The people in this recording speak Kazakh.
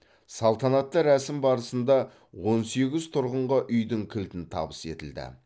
салтанатты рәсім барысында он сегіз тұрғынға үйдің кілтін табыс етілді